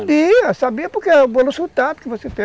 Sabia, sabia porque é o pelo sotaque que você tem.